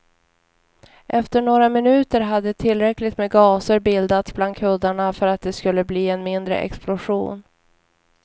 Efter några minuter hade tillräckligt med gaser bildats bland kuddarna för att det skulle bli en mindre explosion.